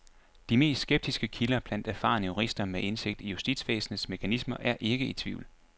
De mest skeptiske kilder blandt erfarne jurister med indsigt i justitsvæsenets mekanismer er ikke i tvivl.